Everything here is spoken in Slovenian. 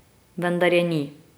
Vendar je ni.